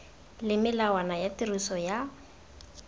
le melawana ya tiriso ya